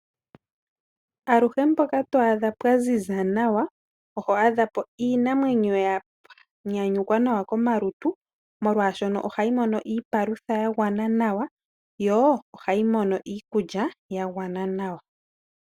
Aluhe mpoka to adha pwa ziza nawa, oho adha po iinamwenyo ya nyanyukwa nawa komalutu molwaashoka ohayi mono iipaludha yagwana nawa, yo ohayi mono iikulya ya gwana nawa.